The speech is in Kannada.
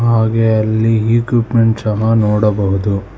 ಹಾಗೆ ಅಲ್ಲಿ ಇಕ್ವಿಪ್ಮೆಂಟ್ ಸಹ ನೋಡಬಹುದು.